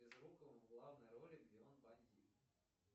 безруковым в главной роли где он бандит